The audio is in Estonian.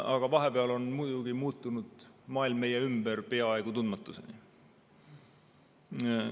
Aga vahepeal on maailm meie ümber peaaegu tundmatuseni muutunud.